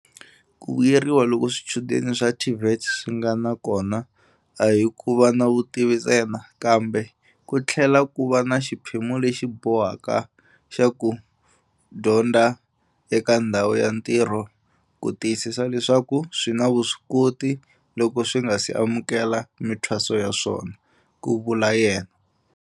Ku vuyeriwa loku swichudeni swa TVET swi nga na kona a hi ku va na vutivi ntsena, kambe ku tlhela ku va na xiphemu lexi bohaka xa ku dyondza eka ndhawu ya ntirho ku tiyisisa leswaku swi ni vuswikoti loko swi nga si amukela mithwaso ya swona, ku vula yena.